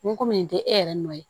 Ni ko min tɛ e yɛrɛ nɔ ye